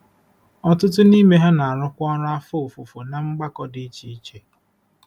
Ọtụtụ n’ime ha na-arụkwa ọrụ afọ ofufo ná mgbakọ dị iche iche.